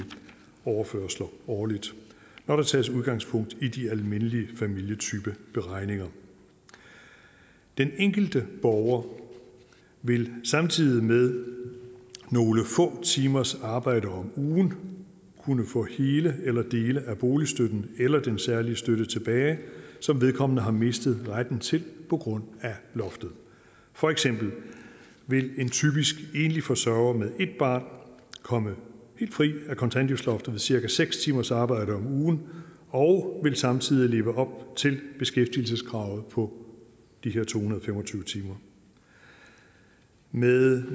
overførsler årligt når der tages udgangspunkt i de almindelige familietypeberegninger den enkelte borger vil samtidig med nogle få timers arbejde om ugen kunne få hele eller dele af boligstøtten eller den særlige støtte tilbage som vedkommende har mistet retten til på grund af loftet for eksempel vil en typisk enlig forsørger med et barn komme helt fri af kontanthjælpsloftet med cirka seks timers arbejde om ugen og vil samtidig leve op til beskæftigelseskravet på de her to hundrede og fem og tyve timer med